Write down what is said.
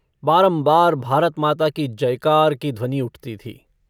बारम्बार भारतमाता की जयकार की ध्वनि उठती थी।